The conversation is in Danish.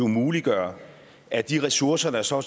muliggøre at de ressourcer der så